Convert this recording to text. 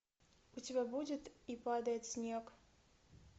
у тебя будет и падает снег